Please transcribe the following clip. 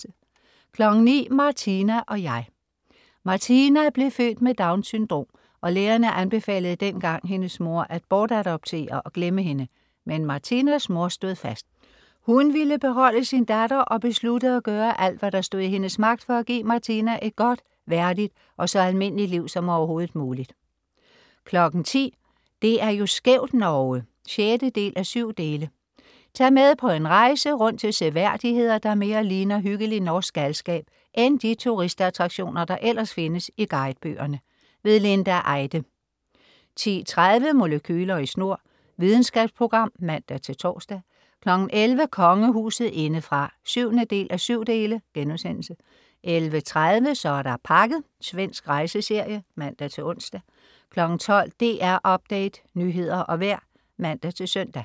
09.00 Martina og jeg. Martina blev født med Downs syndrom, og lægerne anbefalede dengang hendes mor at bortadoptere og glemme hende, men Martinas mor stod fast: Hun ville beholde sin datter og besluttede at gøre alt, hvad der stod i hendes magt for at give Martina et godt, værdigt og så almindeligt liv som overhovedet muligt 10.00 Det er jo skævt, Norge! 6:7. Tag med på en rejse rundt til seværdigheder, der mere ligner hyggelig norsk galskab end de turistattraktioner, der ellers findes i guidebøgerne. Linda Eide 10.30 Molekyler i snor. Videnskabsprogram(man-tors) 11.00 Kongehuset indefra 7:7* 11.30 Så er der pakket. Svensk rejseserie (man-ons) 12.00 DR Update. Nyheder og vejr (man-søn)